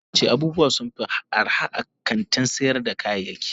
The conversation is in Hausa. Aminu yace abubuwa sunfi arha a kantin sayar da kayayaki.